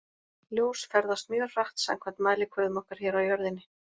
Ljós ferðast mjög hratt samkvæmt mælikvörðum okkar hér á jörðinni.